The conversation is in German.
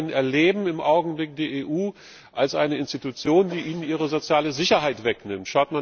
Viele BürgerInnen erleben im Augenblick die EU als eine Institution, die ihnen ihre soziale Sicherheit wegnimmt.